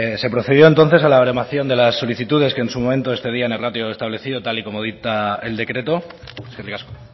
se procedió entonces a la baremación de las solicitudes que en su momento excedían el ratio establecido tal y como dicta el decreto eskerrik asko